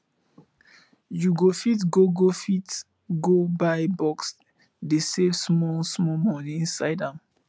you go fit go go fit go buy box dey save small small money inside am